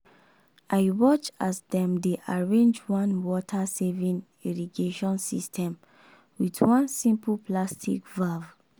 i watch as dem dey arrange one water-saving irrigation system with one simple plastic valve.